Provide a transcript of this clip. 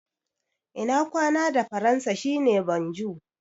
Ina kwana da Faransa shi ne "bonjour".